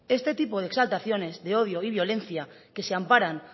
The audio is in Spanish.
este tipo de exaltaciones de odio y violencia que se amparan